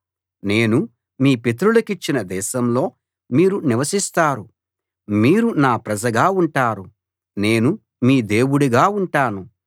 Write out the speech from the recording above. నేను మీ పితరులకిచ్చిన దేశంలో మీరు నివసిస్తారు మీరు నా ప్రజగా ఉంటారు నేను మీ దేవుడుగా ఉంటాను